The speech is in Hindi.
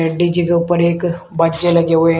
डी_जे के ऊपर एक लगे हुए--